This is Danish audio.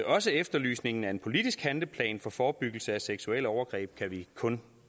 også efterlysningen af en politisk handleplan for forebyggelse af seksuelle overgreb kan vi kun